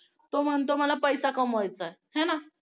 तो म्हणतो मला पैसा कमवायचा आहे आहे ना